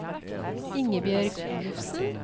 Ingebjørg Olufsen